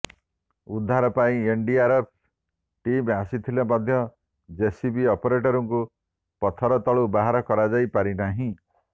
ଉଦ୍ଧାର ପାଇଁ NDRF team ଆସିଥିଲେ ମଧ୍ୟ ଜେସିବି ଅପରେଟରଙ୍କୁ ପଥର ତଳୁ ବାହାର କରାଯାଇ ପାରିନାହିଁ